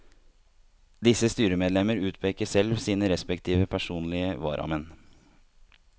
Disse styremedlemmer utpeker selv sine respektive personlige varamenn.